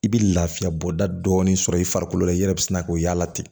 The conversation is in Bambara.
I bɛ lafiya bɔda dɔɔnin sɔrɔ i farikolo la i yɛrɛ bɛ sina k'o y'a la ten